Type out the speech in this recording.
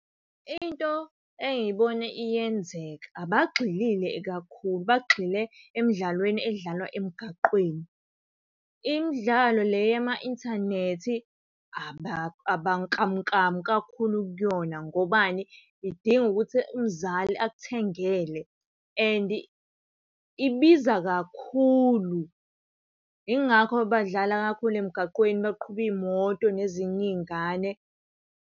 Into engiyibone iyenzeka abagxilile kakhulu, bagxile emdlalweni edlalwa emgaqweni. Imidlalo le yama-inthanethi abanklamunklamu kakhulu kuyona ngobani, idinga ukuthi umzali akuthengele and ibiza kakhulu. Yingakho badlala kakhulu emgaqweni baqhube iy'moto nezinye iy'ngane.